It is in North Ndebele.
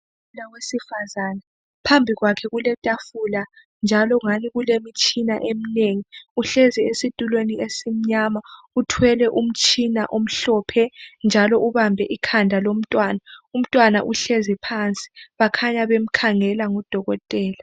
Udokotela wesifazane phambi kwakhe kuletafula njalo ungani kulemitshina eminengi, uhlezi esitulweni esimnyama uthwele umtshina omhlophe njalo ubambe ikhanda lomntwana, umntwana uhlezi phansi bakhanya bemkhangela ngudokotela